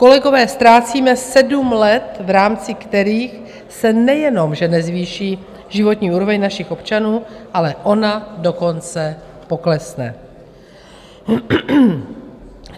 Kolegové, ztrácíme sedm let, v rámci kterých se nejenom že nezvýší životní úroveň našich občanů, ale ona dokonce poklesne.